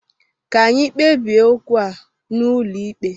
Ka anyị kpebie okwu a n'ụlọ ikpe!